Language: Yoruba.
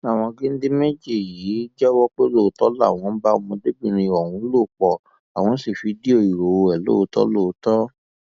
àwọn géńdé méjì yìí jẹwọ pé lóòótọ làwọn bá ọmọdébìnrin ọhún lò pọ àwọn sí fídíò ìhòòhò ẹ lóòótọ lóòótọ